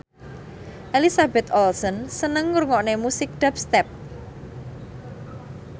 Elizabeth Olsen seneng ngrungokne musik dubstep